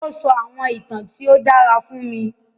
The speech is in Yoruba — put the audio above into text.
O sọ àwọn ìtàn tí o dàrá fún wa.